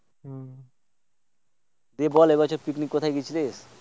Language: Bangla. তুই বল এই বছর Picnic কোথায় গিয়েছিলি?